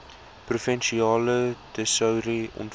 provinsiale tesourie ontvang